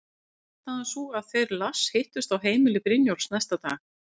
Varð niðurstaðan sú að þeir Lars hittust á heimili Brynjólfs næsta dag.